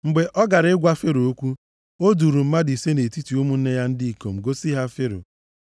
Mgbe ọ gara ịgwa Fero okwu, o duuru mmadụ ise nʼetiti ụmụnne ya ndị ikom gosi ha Fero.